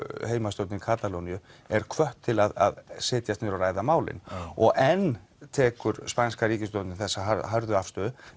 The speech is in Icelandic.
heimastjórn Katalóníu eru hvattar til að setjast niður og ræða málin og enn tekur spænska ríkisstjórnin þessa hörðu afstöðu